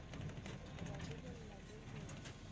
ho ba lebella le ho